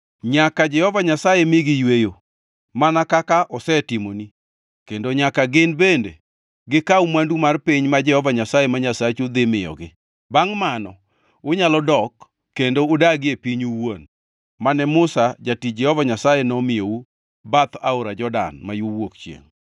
nyaka Jehova Nyasaye migi yweyo, mana kaka osetimoni, kendo nyaka gin bende gikaw mwandu mar piny ma Jehova Nyasaye ma Nyasachu dhi miyogi. Bangʼ mano, unyalo dok kendo udagie pinyu owuon, mane Musa, jatich Jehova Nyasaye nomiyou bath aora Jordan ma yo wuok chiengʼ.”